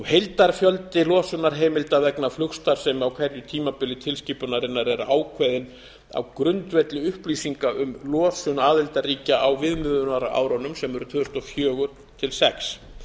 heildarfjöldi losunarheimilda vegna flugstarfsemi á hverju tímabili tilskipunarinnar er ákveðinn á grundvelli upplýsinga um losun aðildarríkja á viðmiðunarárunum sem eru tvö þúsund og fjögur til tvö þúsund og sex